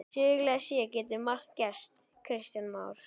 Sögulega séð getur margt gerst Kristján Már?